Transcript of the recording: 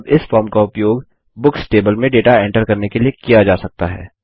और अब इस फॉर्म का उपयोग बुक्स टेबल में डेटा एंटर करने के लिए किया जा सकता है